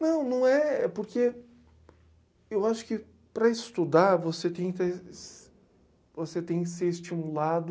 Não, não é... É porque... Eu acho que para estudar, você tem te, você têm que ser estimulado...